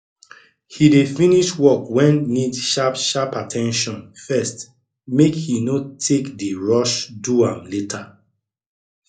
he dey finsih work wen need sharp sharp at ten tion first make he no take dey rush do am later